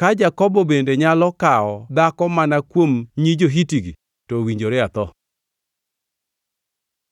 Ka Jakobo bende nyalo kawo dhako mana kuom nyi jo-Hiti-gi, to owinjore atho.”